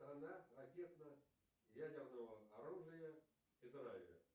страна ракетно ядерного оружия израиля